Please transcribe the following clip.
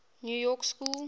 new york school